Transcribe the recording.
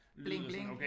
Bling bling